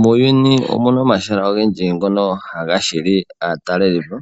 Muuyuni omuna omahala ogendji ngono haga hili aatalelipo